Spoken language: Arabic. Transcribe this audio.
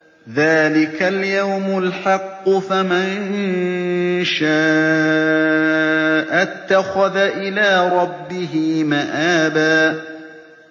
ذَٰلِكَ الْيَوْمُ الْحَقُّ ۖ فَمَن شَاءَ اتَّخَذَ إِلَىٰ رَبِّهِ مَآبًا